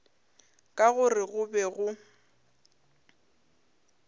ka gore go be go